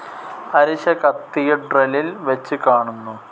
അരിശ കത്തീഡ്രലിൽ വെച്ച് കാണുന്നു.